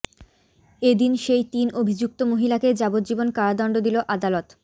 এদিন সেই তিন অভিযুক্ত মহিলাকেই যাবজ্জীবন কারাদন্ড দিল আদালত